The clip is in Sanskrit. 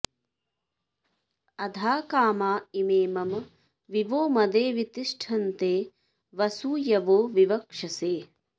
अधा कामा इमे मम वि वो मदे वि तिष्ठन्ते वसूयवो विवक्षसे